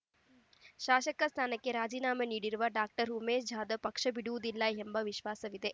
ಶಾಸಕ ಸ್ಥಾನಕ್ಕೆ ರಾಜೀನಾಮೆ ನೀಡಿರುವ ಡಾಕ್ಟರ್ ಉಮೇಶ್ ಜಾಧವ್ ಪಕ್ಷ ಬಿಡುವುದಿಲ್ಲ ಎಂಬ ವಿಶ್ವಾಸವಿದೆ